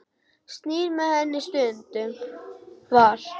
Stýrt með henni stundum var.